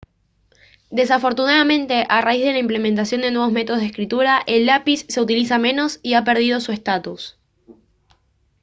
desafortunadamente a raíz de la implementación de nuevos métodos de escritura el lápiz se utiliza menos y ha perdido su estatus